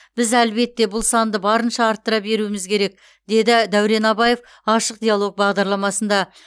біз әлбетте бұл санды барынша арттыра беруіміз керек деді дәурен абаев ашық диалог бағдарламасында